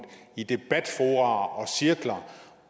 i debatfora og cirkler